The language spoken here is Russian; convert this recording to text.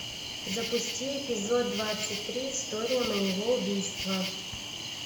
запусти эпизод двадцать три история моего убийства